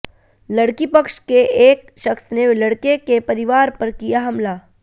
लड़की पक्ष के एक शख्स ने लड़के के परिवार पर किया हमला